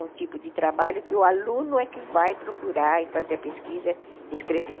um tipo de trabalho que o aluno é que vai procurar e fazer a pesquisa e escrever.